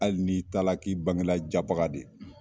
Hali n'i taara k'i bangela japaga de